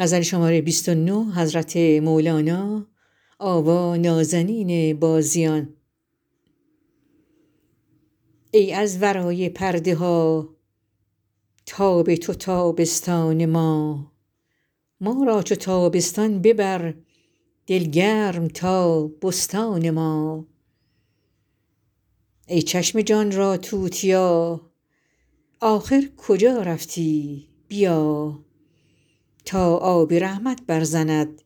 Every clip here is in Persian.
ای از ورای پرده ها تاب تو تابستان ما ما را چو تابستان ببر دل گرم تا بستان ما ای چشم جان را توتیا آخر کجا رفتی بیا تا آب رحمت برزند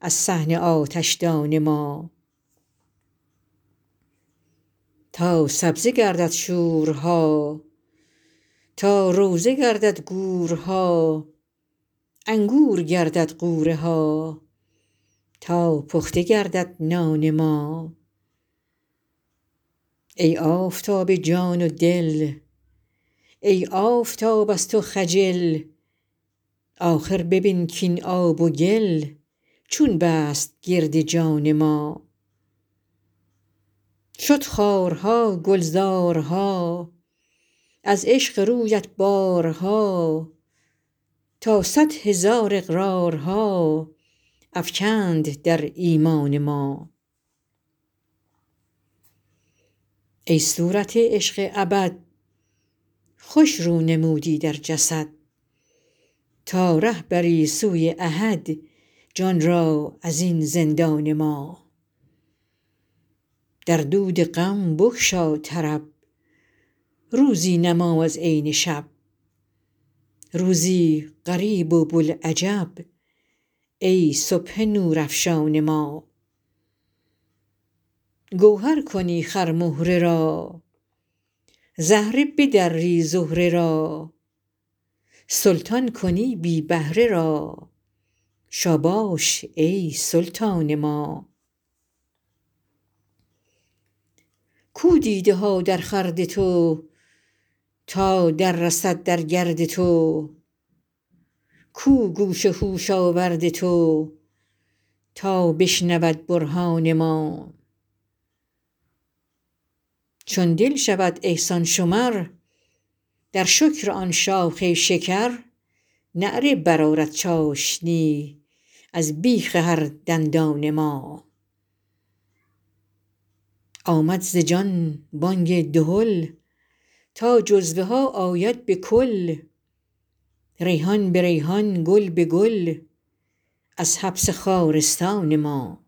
از صحن آتشدان ما تا سبزه گردد شوره ها تا روضه گردد گورها انگور گردد غوره ها تا پخته گردد نان ما ای آفتاب جان و دل ای آفتاب از تو خجل آخر ببین کاین آب و گل چون بست گرد جان ما شد خارها گلزارها از عشق رویت بارها تا صد هزار اقرارها افکند در ایمان ما ای صورت عشق ابد خوش رو نمودی در جسد تا ره بری سوی احد جان را از این زندان ما در دود غم بگشا طرب روزی نما از عین شب روزی غریب و بوالعجب ای صبح نورافشان ما گوهر کنی خرمهره را زهره بدری زهره را سلطان کنی بی بهره را شاباش ای سلطان ما کو دیده ها درخورد تو تا دررسد در گرد تو کو گوش هوش آورد تو تا بشنود برهان ما چون دل شود احسان شمر در شکر آن شاخ شکر نعره برآرد چاشنی از بیخ هر دندان ما آمد ز جان بانگ دهل تا جزوها آید به کل ریحان به ریحان گل به گل از حبس خارستان ما